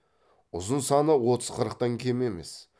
ұзын саны отыз қырықтан кем емес